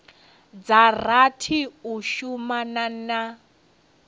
dza rathi u shumana na